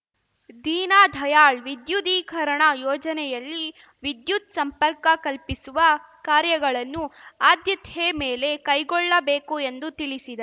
ದೀನ ದಯಾಳ್‌ ವಿದ್ಯುದೀಕರಣ ಯೋಜನೆಯಲ್ಲಿ ವಿದ್ಯುತ್‌ ಸಂಪರ್ಕ ಕಲ್ಪಿಸುವ ಕಾರ್ಯಗಳನ್ನು ಆದ್ಯತೆ ಮೇಲೆ ಕೈಗೊಳ್ಳಬೇಕು ಎಂದು ತಿಳಿಸಿದ